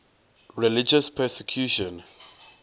religious persecution